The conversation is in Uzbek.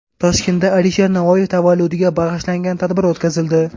Toshkentda Alisher Navoiy tavalludiga bag‘ishlangan tadbir o‘tkazildi.